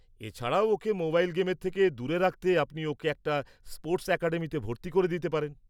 -এছাড়াও ওকে মোবাইল গেমের থেকে দূরে রাখতে আপনি ওকে একটা স্পোর্টস অ্যাকাডেমিতে ভর্তি করে দিতে পারেন।